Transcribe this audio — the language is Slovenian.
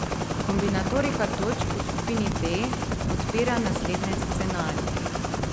Kombinatorika točk v skupini D odpira naslednje scenarije.